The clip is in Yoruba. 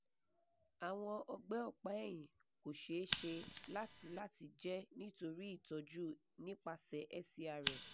awọn ọgbẹ ọpa-ẹhin ko ṣee ṣe lati lati jẹ nitori itọju nipasẹ serm